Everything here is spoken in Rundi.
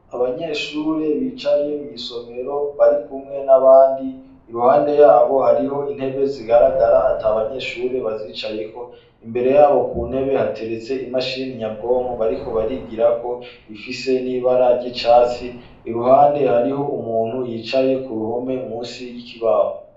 Abanyeshure bicaye mw'isomero barikumwe n'abandi, iruhande yabo hariho intebe zigaragara ata banyeshure bazicayeko, imbere yabo ku ntebe hateretse imashini nyabwonko bariko barigirako, ifise n'ibara ry'icatsi. Iruhande hariho umuntu yicaye ku ruhome, musi y'ikibaho.